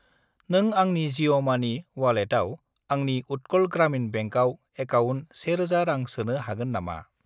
नों आंनि जिअ' मानि अवालेटाव आंनि उट्कल ग्रामिन बेंकआव एकाउन्ट 1000 रां सोनो हागोन नामा?